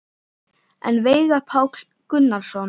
En Veigar Páll Gunnarsson?